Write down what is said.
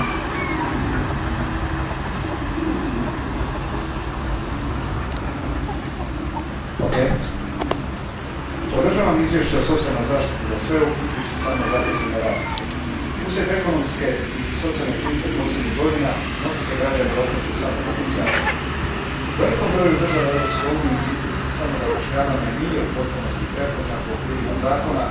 Poštovani g. predsjedniče, podržavam izvješće o socijalnoj zaštiti za sve uključujući samozaposlene radnike. Uslijed ekonomske i socijalne krize posljednjih godina mnogi se građani okreću samozapošljavanju. U velikom broju država Europske unije institut samozapošljavanja nije u potpunosti prepoznat u okvirima zakona.